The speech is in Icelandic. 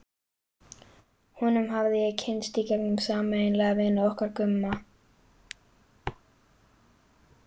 Honum hafði ég kynnst í gegnum sameiginlega vini okkar Gumma.